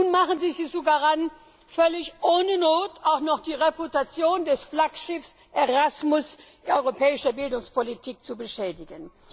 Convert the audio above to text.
Nun machen sie sich sogar daran, völlig ohne Not auch noch die Reputation des Flaggschiffs der europäischen Bildungspolitik ERASMUS zu beschädigen.